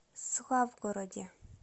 славгороде